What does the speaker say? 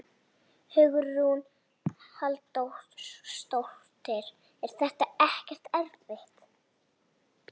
Hugrún Halldórsdóttir: Er þetta ekkert erfitt?